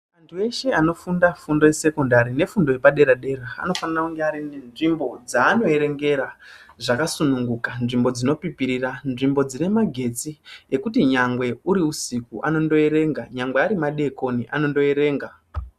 Antu eshe anofunda fundo yesekondari nefundo yepadera-dera anofane kunge anenzvimbo dzaanoerengera zvakasununguka, nzvimbo dzinopipirira, nzvimbo dzinemagetsi ekuti nyangwe uri usiku anondoerenga, nyangwe arimadekoni, anondoerenga.